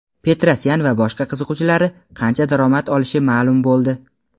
Petrosyan va boshqa qiziqchilari qancha daromad olishi ma’lum bo‘ldi.